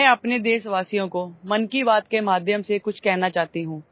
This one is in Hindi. मैं अपने देशवासियों को मन की बात के माध्यम से कुछ कहना चाहती हूं